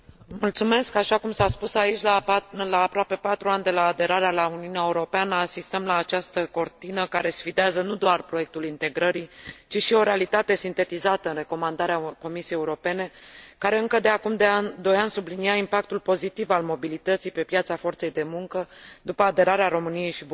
Așa cum s a spus aici, la aproape patru ani de la aderarea la Uniunea Europeană, asistăm la această cortină care sfidează nu doar proiectul integrării, ci și o realitate sintetizată în recomandarea Comisiei Europene, care, încă de acum doi ani, sublinia impactul pozitiv al mobilității pe piața forței de muncă, după aderarea României și Bulgariei.